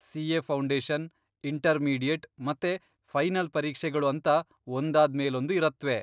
CA. Foundation, intermediate, ಮತ್ತೆ final ಪರೀಕ್ಷೆಗಳು ಅಂತ ಒಂದಾದ್ಮೇಲೊಂದು ಇರತ್ವೆ.